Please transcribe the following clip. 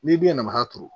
N'i dun y'a nafa turu